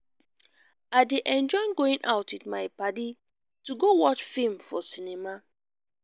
i dey enjoy going out with my padi to go watch film for cinema